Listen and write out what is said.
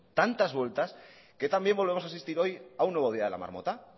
tantas vueltas que también volvemos a asistir hoy a un nuevo día de la marmota